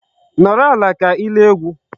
Nọrọ ala ka ị lee egwu.